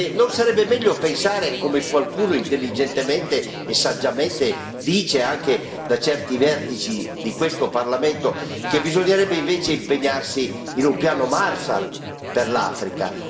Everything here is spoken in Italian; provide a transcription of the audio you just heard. Non sarebbe meglio pensare come qualcuno intelligentemente e saggiamente dice, anche da certi vertici di questo Parlamento che bisognerebbe invece impegnarsi in un piano Marshall per l'Africa?